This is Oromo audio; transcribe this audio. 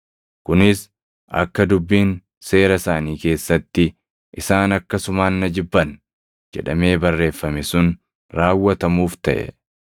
Kunis akka dubbiin Seera isaanii keessatti, ‘Isaan akkasumaan na jibban’ + 15:25 \+xt Far 35:19; 69:4\+xt* jedhamee barreeffame sun raawwatamuuf taʼe.